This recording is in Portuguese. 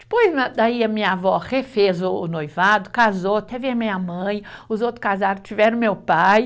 Depois, na daí a minha avó refez o o noivado, casou, teve a minha mãe, os outros casaram, tiveram meu pai.